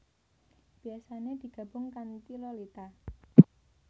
Biasane digabung kantiLolita